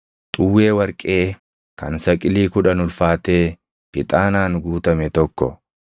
xuwwee warqee kan saqilii kudhan ulfaatee ixaanaan guutame tokko,